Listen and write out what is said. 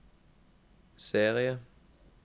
serie